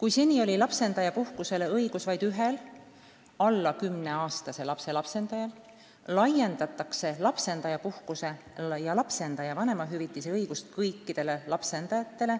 Kui seni oli lapsendajapuhkusele õigus vaid ühel alla 10-aastase lapse lapsendajal, siis nüüd laiendatakse lapsendajapuhkuse ja lapsendaja vanemahüvitise õigust kõikidele lapsendajatele,